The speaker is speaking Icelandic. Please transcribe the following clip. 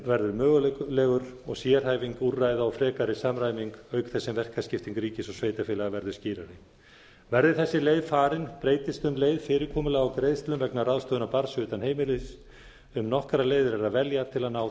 verður mögulegur og sérhæfing úrræða og frekari samræming auk þess sem verkaskipting ríkis og sveitarfélaga verður skýrari verði þessi leið farin breytist um leið fyrirkomulag á greiðslum vegna ráðstöfunar barns utan heimilis um nokkrar leiðir er að velja til að ná